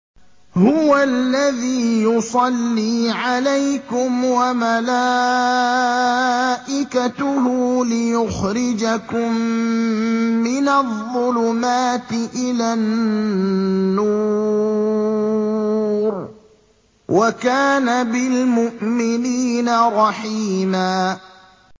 هُوَ الَّذِي يُصَلِّي عَلَيْكُمْ وَمَلَائِكَتُهُ لِيُخْرِجَكُم مِّنَ الظُّلُمَاتِ إِلَى النُّورِ ۚ وَكَانَ بِالْمُؤْمِنِينَ رَحِيمًا